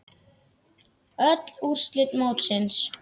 Öll úrslit mótsins